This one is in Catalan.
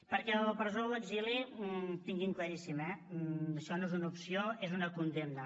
perquè la presó o l’exili tinguin ho claríssim eh això no és una opció és una condemna